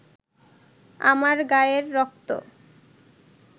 আমার গায়ের রক্ত